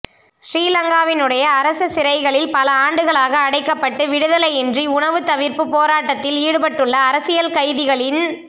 சிறீலங்காவினுடைய அரச சிறைகளில் பல ஆண்டுகளாக அடைக்கப்பட்டு விடுதலையின்றி உணவு தவிர்ப்பு போராட்டத்தில் ஈடுபட்டுள்ள அரசியல் கைதிகளின்